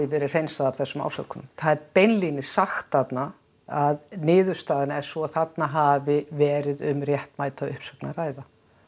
verið hreinsað af þessum ásökunum það er beinlínis sagt þarna að niðurstaðan er sú að þarna hafi verið um réttmæta uppsögn að ræða